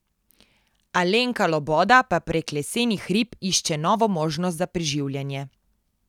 Alenka Loboda pa prek lesenih rib išče novo možnost za preživljanje.